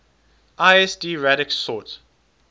lsd radix sort